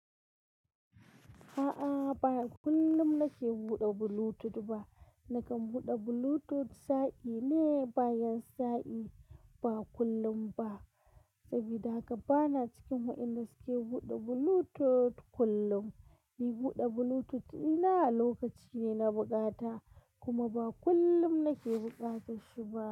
A'a, ba kullum nake buɗe Bluetooth ba. Nakan buɗe Bluetooth sa'i ne, bayan sa'i, ba kullum ba. Saboda haka bana cikin wa'indace suke buɗe Bluetooth kullum. Ni buɗe Bluetooth ɗina a lokaci ne na bukata, kuma ba kullum nake buƙata shi ba.